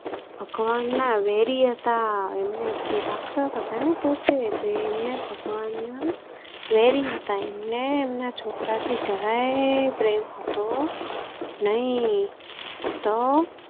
ભગવાન ના વેરી હતા એ રક્ષતા હતા ને પોતે, એ ભગવાન ના વેરી હતા એમના છોકરા થી જરાયે પ્રેમ હતો નઈ તો